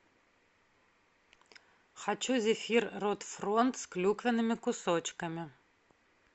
хочу зефир рот фронт с клюквенными кусочками